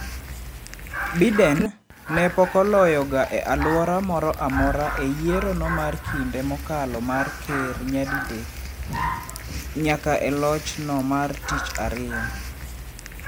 Biden, ne pokoloyo ga e alwora moro amora e yiero no mar kinde mokalo mar ker nyadi dek nyaka e loch no mar tich ariyo.